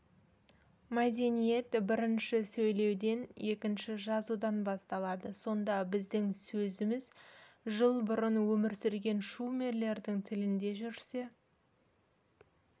мәдениет бірінші сөйлеуден екінші жазудан басталады сонда біздің сөзіміз жыл бұрын өмір сүрген шумерлердің тілінде жүрсе